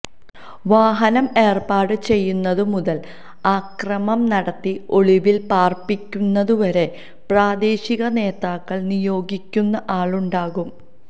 വാഹനം ഏര്പ്പാട് ചെയ്യുന്നതു മുതല് അക്രമം നടത്തി ഒളിവില് പാര്പ്പിക്കുന്നതു വരെ പ്രാദേശിക നേതാക്കള് നിയോഗിക്കുന്ന ആളുണ്ടാകും